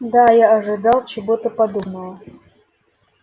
да я ожидал чего-то подобного